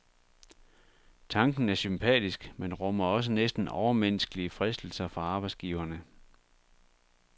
Tanken er sympatisk, men rummer også næsten overmenneskelige fristelser for arbejdsgiverne.